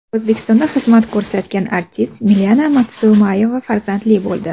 O‘zbekistonda xizmat ko‘rsatgan artist Milena Madmusayeva farzandli bo‘ldi.